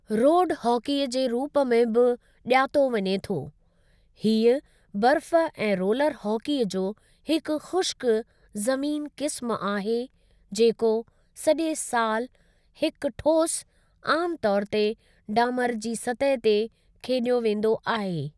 Road hockey जे रूप में बि ॼातो वञे थो, हीउ बर्फ़ ऐं रोलर हॉकीअ जो हिकु ख़ुश्क ज़मीन क़िस्मु आहे जेको सॼे सालु हिक ठोस, आमु तौर ते ॾामर जी सतह ते खेॾियो वेंदो आहे।